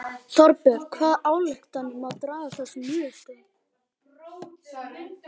Þorbjörn hvaða ályktanir má draga af þessum niðurstöðum?